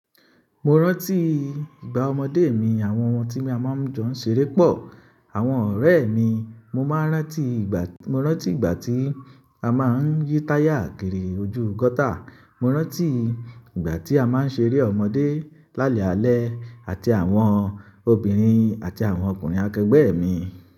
Mo rántí ìgbà ọmọdé mi, àwọn ohun tí a máa ń jọ ṣeré pọ̀, àwọn ọ̀rẹ́ mi, mo máa rántí ìgbà, mo rántí ìgbà tí a máa ń yí táyà kiri ojú gọ́tà, mo rántí ìgbà tí a máa ń ṣeré ọmọdé lálẹ́ alẹ́ àti àwọn obìnrin àti àwọn ọkùnrin akẹgbẹ́ mi.